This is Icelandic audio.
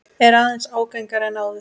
Er aðeins ágengari en áður.